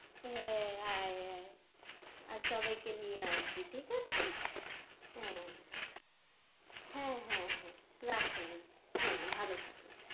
হ্যাঁ, আয়, আয়, আর সবাইকে নিয়ে আসবি, ঠিক আছে? হ্যাঁ হ্যাঁ, হ্যাঁ, হ্যাঁ, রাখলাম, হ্যাঁ, ভালো থাকিস